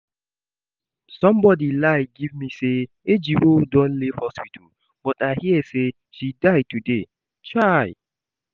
Somebody lie give me say Ejiro don leave hospital but I hear say she die today, chai!